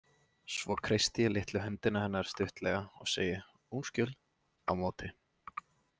Svo kreisti ég litlu hendina hennar stuttlega og segi undskyld á móti.